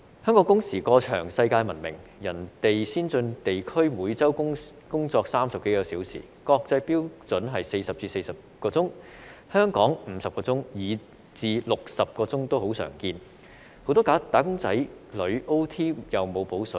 香港工時過長世界聞名，其他先進地區每周工作30多小時，國際標準是40小時至44小時，香港是50小時，以至60小時也很常見，很多"打工仔女 "OT 也沒有"補水"。